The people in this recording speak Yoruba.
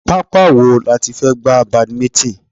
Pápá wo láti fẹ́ gba badminton?